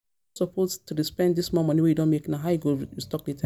You no suppose to dey spend dis small money wey you don make now, how you go restock later?